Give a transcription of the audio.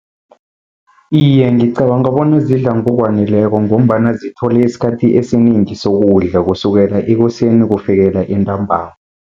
Iye, ngicabanga bona zidla ngokwaneleko, ngombana zithole isikhathi esinengi sokudla, kusukela ekuseni kufikela entambama.